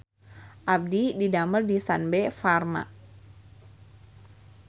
Abdi didamel di Sanbe Farma